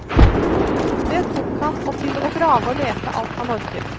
Det tok han, og til å grave og lete alt han orket.